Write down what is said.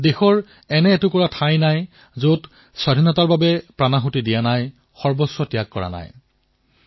এই সময়ছোৱাত দেশৰ এনেকুৱা এটা অংশ নাই যত স্বাধীনতাকামীসকলে নিজৰ প্ৰাণ হেৰুওৱা নাই নিজৰ সৰ্বস্ব ত্যাগ কৰা নাই